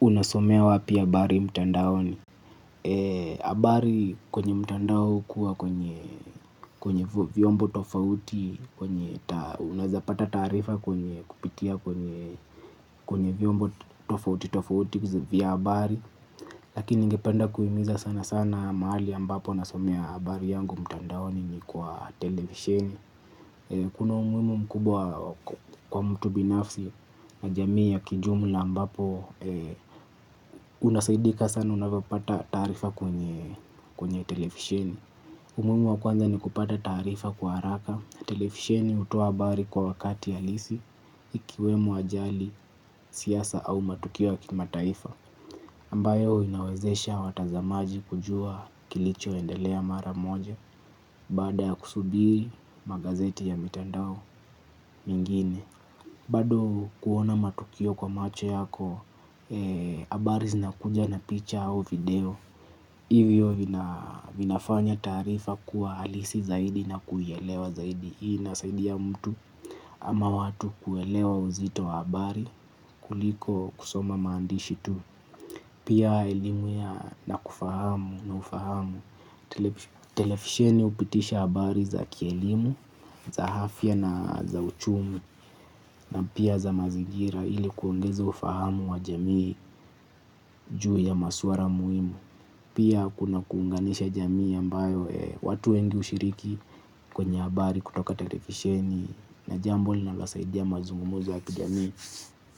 Unasomea wapi habari mtandaoni. Habari kwenye mtandao hukuwa kwenye vyombo tofauti. Kwenye unaezapata taarifa kwenye kupitia kwenye vyombo tofauti tofauti vya abari. Lakini ningependa kuhimiza sana sana mahali ambapo nasomea habari yangu mtandaoni ni kwa televisheni. Kuna umuhimu mkubwa kwa mtu binafsi na jamii ya kijumla ambapo. Unasaidika sana unavyopata taarifa kwenye televisheni. Umuhimu wa kwanza ni kupata taarifa kwa haraka. Televisheni hutoa habari kwa wakati halisi. Ikiwemo ajali siasa au matukio ya kimataifa ambayo inawezesha watazamaji kujua kilichoendelea mara moja. Baada ya kusubiri magazeti ya mitandao mingine bado kuona matukio kwa macho yako. Habari zinakuja na picha au video. Hivyo vinafanya taarifa kuwa halisi zaidi na kuielewa zaidi. Hii inasaidia mtu ama watu kuelewa uzito wa habari kuliko kusoma maandishi tu. Pia elimu ya na kufahamu na ufahamu. Televisheni hupitisha habari za kielimu za afya na za Uchumi Na pia za mazingira ili kuongeza ufahamu wa jamii juu ya masuala muhimu. Pia kuna kuunganisha jamii ambayo watu wengi hushiriki kwenye habari kutoka televisheni na jambo linalosaidia mazungumzo ya kijamii.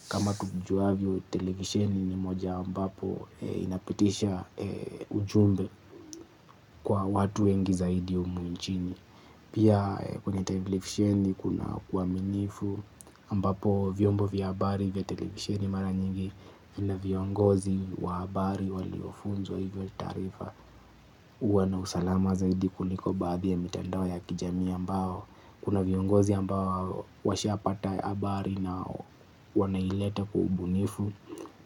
Kama tujuavyo televisheni ni moja ambapo inapitisha ujumbe kwa watu wengi zaidi humu nchini. Pia kwenye televisheni kuna uaminifu ambapo vyombo vya habari vya televisheni mara nyingi na viongozi wa habari waliofunzwa hivyo taarifa huwa na usalama zaidi kuliko baadhi ya mitandao ya kijami ambao kuna viongozi ambao washapata habari na wanaileta kwa ubunifu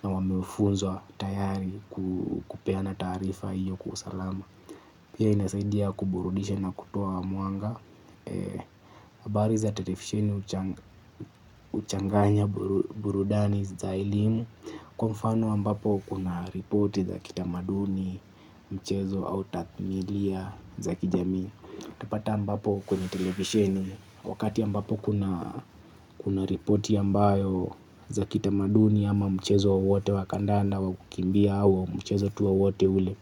na wamefunzwa tayari kupeana taarifa hiyo kwa usalama. Pia inasaidia kuburudisha na kutoa mwanga. Habari za televisheni huchanganya burudani za elimu. Kwa mfano ambapo kuna ripoti za kitamaduni, michezo au tathmilia za kijami. Utapata ambapo kwenye televisheni. Wakati ambapo kuna kuna ripoti ambayo za kitamaduni ama mchezo wowote wa kandanda wa kukimbia au mchezo tu wowote ule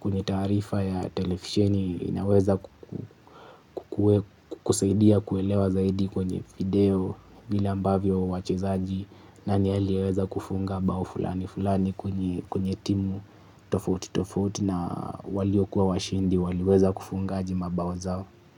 kwenye taarifa ya televisheni inaweza kuhusaidia kuelewa zaidi kwenye video vile ambavyo wachezaji nani aliyeweza kufunga bao fulani fulani kwenye timu tofauti tofauti na waliokuwa washindi waliweza kufungaje mabao zao.